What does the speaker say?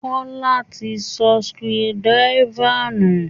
Kọ́lá ti sọ screwdriver nù